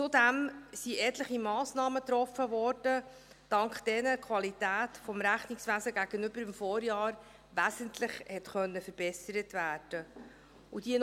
Zudem wurden etliche Massnahmen getroffen, dank derer die Qualität des Rechnungswesens gegenüber dem Vorjahr wesentlich verbessert werden konnte.